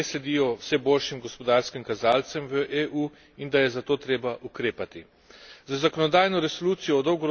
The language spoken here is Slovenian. Podpiram njegovo tezo, da investicije ne sledijo vse boljšim gospodarskim kazalcem v EU in da je zato treba ukrepati.